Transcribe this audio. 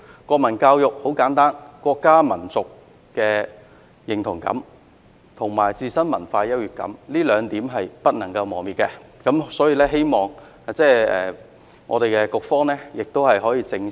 國民教育很簡單，國家民族的認同感，以及自身文化優越感，這兩點是不能磨滅的，我希望局方可以正視......